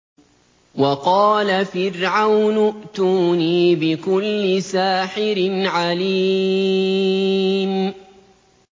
وَقَالَ فِرْعَوْنُ ائْتُونِي بِكُلِّ سَاحِرٍ عَلِيمٍ